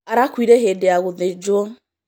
Arakuire hĩndĩ ya gũthĩnjwo